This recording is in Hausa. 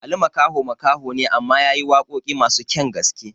Ali Makaho makaho ne amma yayi waƙoƙi masu kyan gaske